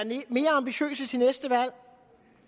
mere ambitiøse til næste valg